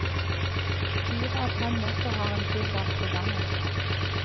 Fire av fem netter har han tilbragt på gangen.